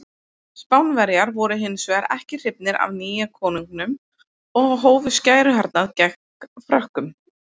Spánverjar voru hins vegar ekki hrifnir af nýja konunginum og hófu skæruhernað gegn Frökkum.